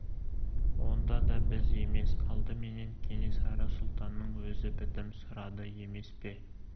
онда да біз емес алдыменен кенесары сұлтанның өзі бітім сұрады емес пе